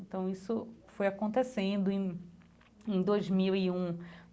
Então isso foi acontecendo em em dois mil e um.